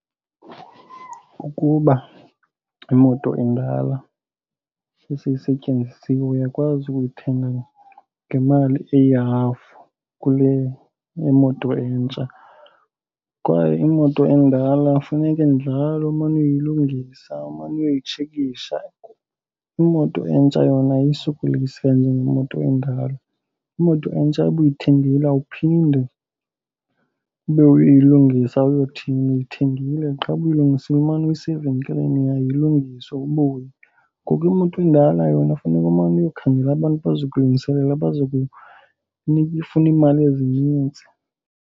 Ukuba imoto indala sele seyisetyenzisiwe uyakwazi ukuyithenga ngemali eyihafu kule yemoto entsha kwaye imoto endala funeke njalo umane uyoyilungisa umane uyotshekisha. Imoto entsha yona ayisokolisi kanjengemoto endala. Imoto entsha uba uyithengile awuphinde ube uyilungisa uyothini, uyithengile qha. Uba uyilungisile umane usiya evenkileni yayo ilungiswe ubuye. Ngoku imoto endala yona funeka umane uyokhangela abantu abazokulungisela abazokufuna iimali ezinintsi.